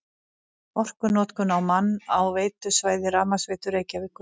Orkunotkun á mann á veitusvæði Rafmagnsveitu Reykjavíkur